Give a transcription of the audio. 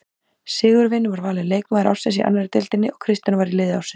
Sigurvin var valinn leikmaður ársins í annarri deildinni og Kristján var í liði ársins.